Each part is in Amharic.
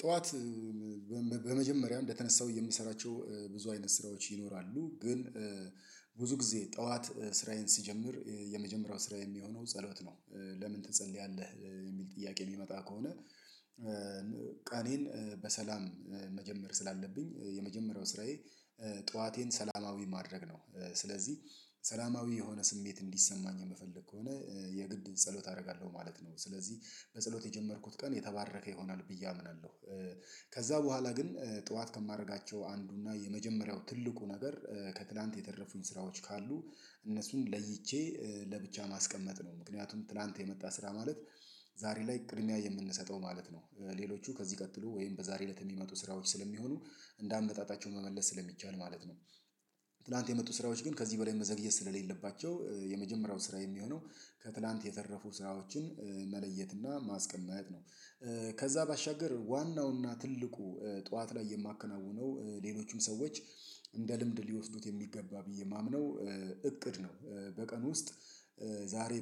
ጠዋት በመጀመሪያ እንደተነሳውኝ የምሰራቸው ብዙ አይነት ስራዎች ይኖራሉ ግን ብዙ ግዜ ጠዋት ስራዬን ስጀምር የመጀመሪያው ስራ ሚሆነው ጸሎት ነው። ለምን ትጸልያለህ? ሚል ጥያቄ ሚመጣ ከሆነ ቀኔን በሰላም መጀመር ስላለብኝ የመጀመሪያው ስራዬ። ጠዋቴን ሰላማዊ ማድረግ ነው ስለዚ ሰላማዊ የሆነ ስሜት እንዲሰማኝ የምፈልግ ከሆነ የግድ ጸሎት አረጋለው ማለት ነው። ስለዚ በጸሎት የጀመርኩት ቀን የተባረከ ይሆናል ብዬ አምናለው። ከዛ በኋላ ግን ጠዋት ከማረጋቸው አንዱና የመጀመሪያው ትልቁ ነገር ከትላንት የተረፉኝ ስራዎች ካሉ እነሱን ለይቼ ለብቻ ማስቀመጥ ነው። ምክንያቱም ትላንት የመጣ ስራ ማለት ዛሬ ላይ ቅድሚያ የምንሰጠው ማለት ነው። ሌሎቹ ከዚህ ቀጥሎ ወይም በዛሬ እለት የሚመጡ ስራዎች ስለሚሆኑ እንደ አመጣጣቸው መመለስ ስለሚቻል ማለት ነው። ትላንት የመጡ ስራዎች ግን ከዚህ በላይ መዘግየት ስለሌለባቸው የመጀመሪያው ስራ የሚሆነው ከትላንት የተረፉ ስራዎችን መለየትና ማስቀመጥ ነው። ከዛ ባሻገር ዋናውና ትልቁ ጠዋት ላይ የማከናውነው ሌሎቹም ሰዎች እንደ ልምድ ሊወስዱት የሚገባ ብዬ ማምነው እቅድ ነው። በቀን ውስጥ ዛሬ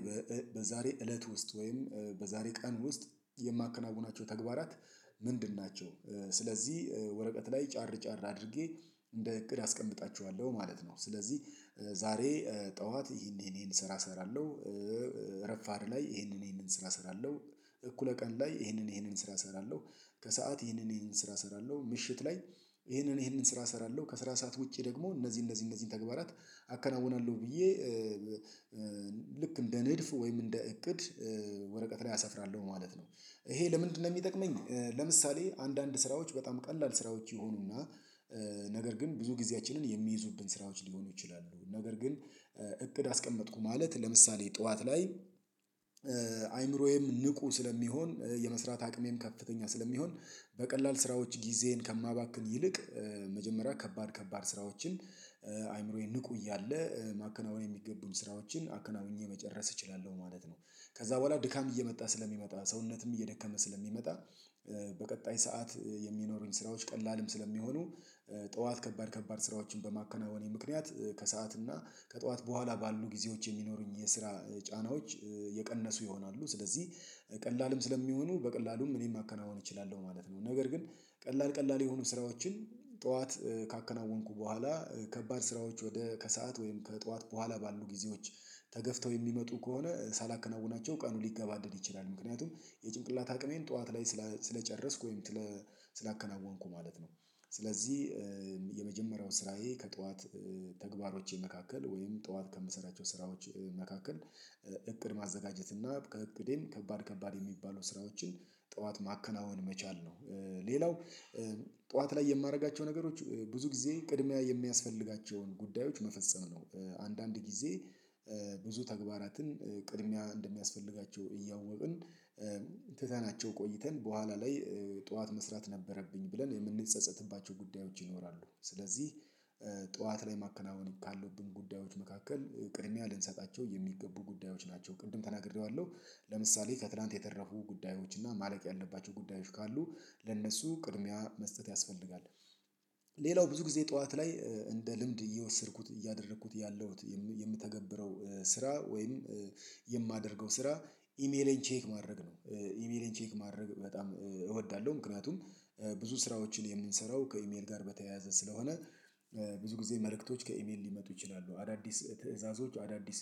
በዛሬ እለት ውስጥ ወይም በዛሬ ቀን ውስጥ የማከናውናቸው ተግባራት ምንድን ናቸው? ስለዚ ወረቀት ላይ ጫር ጫር አድርጌ እንደ እቅድ አስቀምጣቸዋለው ማለት ነው። ስለዚ ዛሬ ጠዋት ይሄን ይሄን ይሄን ስራ እሰራለው። ረፋድ ላይ ይሄንን ይሄንን ስራ እሰራለው። እኩለ ቀን ላይ ይሄንን ይሄንን ስራ እሰራለው። ከሰአት ይሄንን ይሄንን ስራ እሰራለው ምሽት ላይ ይሄንን ይሄንን ስራ እሰራለው ከስራ ሰዓት ውጪ ደግሞ እነዚ እነዚ እነዚን ተግባራት። አከናውናለው ብዬ ልክ እንደ ንድፍ ወይም እንደ እቅድ ወረቀት ላይ አሰፍራለው ማለት ነው። ይሄ ለምንድነው ሚጠቅመኝ? ለምሳሌ አንዳንድ ስራዎች በጣም ቀላል ስራዎች ይሆኑና ነገር ግን ብዙ ጊዜያችንን የሚይዙብን ስራዎች ሊሆኑ ይችላሉ። ነገር ግን እቅድ አስቀመጥኩ ማለት ለምሳሌ ጠዋት ላይ። አይምሮዬም ንቁ ስለሚሆን የመስራት አቅሜም ከፍተኛ ስለሚሆን በቀላል ስራዎች ጊዜን ከማባክን ይልቅ መጀመሪያ ከባድ ከባድ ስራዎችን አይምሮዬ ንቁ እያለ ማከናወን የሚገቡኝ ስራዎችን አከናውኜ መጨረስ እችላለው ማለት ነው። ከዛ በኋላ ድካም እየመጣ ስለሚመጣ ሰውነትም እየደከመ ስለሚመጣ። በቀጣይ ሰዓት የሚኖሩኝ ስራዎች ቀላልም ስለሚሆኑ ጠዋት ከባድ ከባድ ስራዎችን በማከናወኔ ምክንያት ከሰአት እና ከጠዋት በኋላ ባሉ ጊዜዎች የሚኖሩኝ የስራ ጫናዎች የቀነሱ ይሆናሉ። ስለዚ ቀላልም ስለሚሆኑ በቀላሉም እኔም ማከናወን እችላለው ማለት ነው። ነገር ግን ቀላል ቀላል የሆኑ ስራዎችን ጠዋት ካከናወንኩ በኋላ ከባድ ስራዎች ወደ ከሰአት ወይም ከጠዋት በኋላ ባሉ ጊዜዎች ተገፍተው የሚመጡ ከሆነ ሳላከናውናቸው ቀኑ ሊገባደድ ይችላል። ምክንያቱም የጭንቅላታ አቅሜን ጠዋት ላይ ስለጨረስኩ ወይም ስላከናወንኩ ማለት ነው። ስለዚ የመጀመሪያው ስራዬ ከጠዋት ተግባሮቼ መካከል ወይም ጠዋት ከምሰራቸው ስራዎች መካከል እቅድ ማዘጋጀት እና ከእቅዴም ከባድ ከባድ የሚባሉ ስራዎችን ጠዋት ማከናወን መቻል ነው። ሌላው ጠዋት ላይ የማረጋቸው ነገሮች ብዙ ጊዜ ቅድሚያ የሚያስፈልጋቸውን ጉዳዮች መፈጸም ነው። አንዳንድ ጊዜ ብዙ ተግባራትን ቅድሚያ እንደሚያስፈልጋቸው እያወቅን ትተናቸው ቆይተን በኋላ ላይ ጠዋት መስራት ነበረብኝ ብለን የምንጸጸትባቸው ጉዳዮች ይኖራሉ። ስለዚ ጠዋት ላይ ማከናወን ካሉብን ጉዳዮች መካከል ቅድሚያ ልንሰጣቸው የሚገቡ ጉዳዮች ናቸው ቅድም ተናግሬዋለው። ለምሳሌ ከትላንት የተረፉ ጉዳዮች እና ማለቅ ያለባቸው ጉዳዮች ካሉ ለእነሱ ቅድሚያ መስጠት ያስፈልጋል። ሌላው ብዙ ጊዜ ጠዋት ላይ እንደ ልምድ እየወሰድኩት እያደረኩት ያለሁት የምተገብረው ስራ ወይም ስራ ኢሜሌን ቼክ ማድረግ ነው። ኢሜሌን ቼክ ማድረግ በጣም እወዳለው። ምክንያቱም ብዙ ስራዎችን የምንሰራው ከኢሜል ጋር በተያያዘ ስለሆነ። ብዙ ጊዜ መልእክቶች ከኢሜል ሊመጡ ይችላሉ አዳዲስ ትዕዛዞች አዳዲስ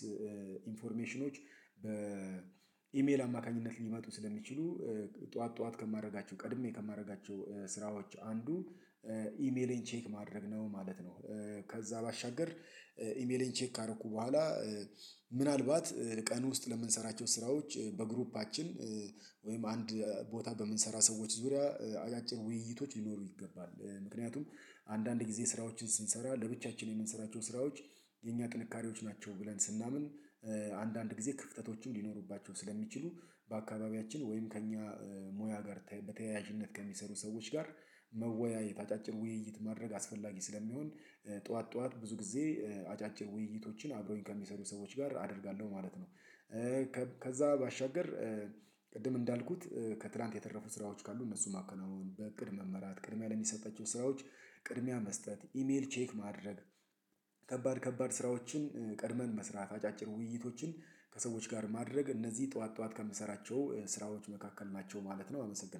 ኢንፎርሜሽኖች በኢሜል አማካኝነት ሊመጡ ስለሚችሉ ጠዋት ጠዋት ከማረጋቸው ቀድሜ ከማረጋቸው ስራዎች አንዱ ኢሜሌን ቼክ ማድረግ ነው ማለት ነው። ከዛ ባሻገር ኢሜሌን ቼክ ካረኩ በኋላ ምናልባት ቀን ውስጥ ለምንሰራቸው ስራዎች በግሩፓችን ወይም አንድ ቦታ በምንሰራ ሰዎች ዙሪያ አጫጭር ውይይቶች ሊኖሩ ይገባል። ምክንያቱም አንዳንድ ጊዜ ስራዎችን ስንሰራ ለብቻችን የምንሰራቸው ስራዎች የኛ ጥንካሬዎች ናቸው። ብለን ስናምን አንዳንድ ጊዜ ክፍተቶችም ሊኖሩባቸው ስለሚችሉ በአካባቢያችን ወይም ከእኛ ሙያ ጋር በተያያዥነት ከሚሰሩ ሰዎች ጋር መወያየት አጫጭር ውይይት ማድረግ አስፈላጊ ስለሚሆን። ጠዋት ጠዋት ብዙ ጊዜ አጫጭር ውይይቶችን አብረውኝ ከሚሰሩ ሰዎች ጋር አደርጋለው ማለት ነው። ከዛ ባሻገር ቅድም እንዳልኩት ከትላንት የተረፉ ስራዎች ካሉ እነሱን ማከናወን በእቅድ መመራት ቅድሚያ ለሚሰጣቸው ስራዎች ቅድሚያ መስጠት ኢሜል ቼክ ማድረግ ከባድ ከባድ ስራዎችን ቀድመን መስራት አጫጭር ውይይቶችን ከሰዎች ጋር ማድረግ እነዚ ጠዋት ጠዋት ከምሰራቸው ስራዎች መካከል ናቸው ማለት ነው። አመሰግናለው